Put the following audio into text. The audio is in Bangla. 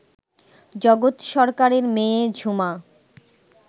জগৎ সরকারের মেয়ে ঝুমা